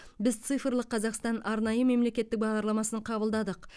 біз цифрлық қазақстан арнайы мемлекеттік бағдарламасын қабылдадық